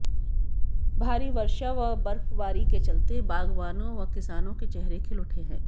भारी वर्षा व बर्फबारी के चलते बागबानों व किसानों के चेहरे खिल उठे हैं